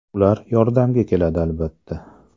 Ular yordamga keladi albatta.